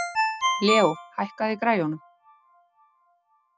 Leó, hækkaðu í græjunum.